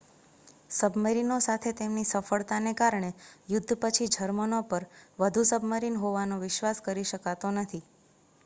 સબમરીનોસાથે તેમની સફળતાને કારણે યુદ્ધ પછી જર્મનો પર વધુ સબમરીન હોવાનો વિશ્વાસ કરી શકાતો નથી